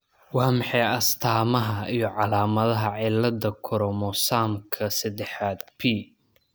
Waa maxay astamaha iyo calaamadaha cilada koromosamka sedexad p ?